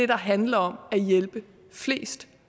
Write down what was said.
der handler om at hjælpe flest